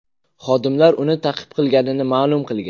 Xodimlar uni ta’qib qilganini ma’lum qilgan.